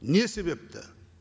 не себепті